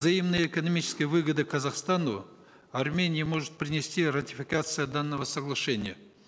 взаимные экономические выгоды казахстану армении может принести ратификация данного соглашения